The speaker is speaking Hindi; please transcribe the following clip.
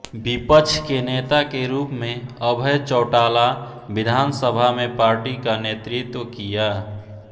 विपक्ष के नेता के रूप में अभय चौटाला विधानसभा में पार्टी का नेतृत्व किया